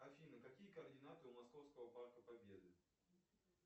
афина какие координаты у московского парка победы